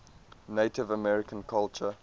native american culture